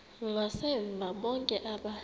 ngasemva bonke aba